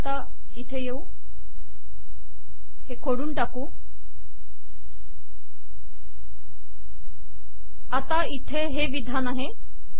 आता इथे हे विधान आहे